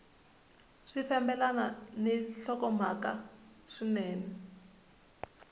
swi fambelana ni nhlokomhaka swinene